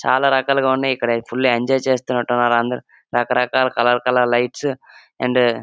చాలా రకాలుగా ఉన్నాయి ఇక్కడ ఫుల్ ఎంజాయ్ చేస్తున్నట్టు ఉన్నారు అందరూ రకరకాల కలర్ కలర్ లైట్స్ అండ్ --